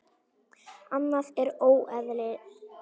Annað er óeðli.